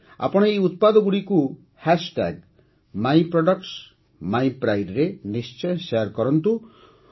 ଆପଣ ଏହି ଉତ୍ପାଦଗୁଡ଼ିକୁ MyProductsMyPrideରେ ନିଶ୍ଚୟ ସେୟାର୍ କରନ୍ତୁ